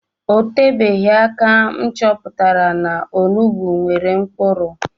O tebeghi aka m chọpụtara na onugbu nwere nkpuru